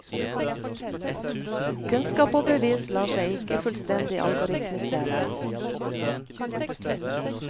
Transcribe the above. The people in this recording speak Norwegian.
Kunnskap og bevis lar seg ikke fullstendig algoritmisere.